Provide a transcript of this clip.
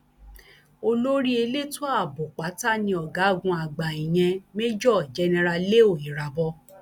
olórí elétò ààbò pátá ni ọgágun àgbà ìyen major general leo irabor